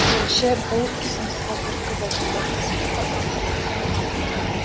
тілші бұл ұсынысқа түрткі болған басты себеп ұрпақсыздықтың артуы